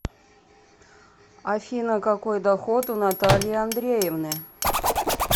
афина какой доход у натальи андреевны